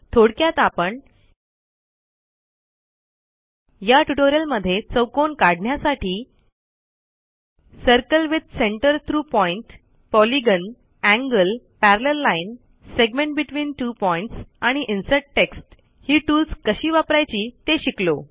थोडक्यात आपण या ट्युटोरियलमध्ये चौकोन काढण्यासाठी circle with centre through point polygon angle parallel line segment between two points आणि इन्सर्ट टेक्स्ट ही टूल्स कशी वापरायची ते शिकलो